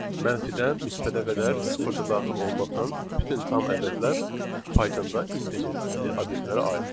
Mənfidən müsbətə qədər sıfır daxil olmaqla bütün tam ədədlər Pythonda integer tipli obyektlərə aiddir.